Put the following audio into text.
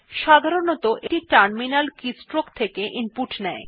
সাধারনতঃ এটি terminal keystrokes থেকে ইনপুট নেয়